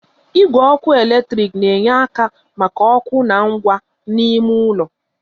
Igwe ọkụ eletrik na-enye ike maka ọkụ na ngwa n'ime ụlọ